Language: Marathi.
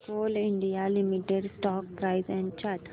Coal India Limited stock price and chart